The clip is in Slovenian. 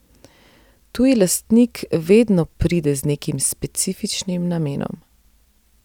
Tuji lastnik vedno pride z nekim specifičnim namenom.